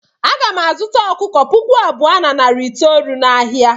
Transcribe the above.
Aga m azụta ọkụkọ puku abụọ na narị itoolu n'ahịa.